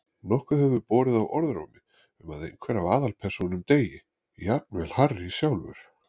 Nokkuð hefur borið á orðrómi um að einhver af aðalpersónunum deyi, jafnvel Harry sjálfur.